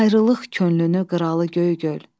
Ayrılıq könlünü qıralı göy gül.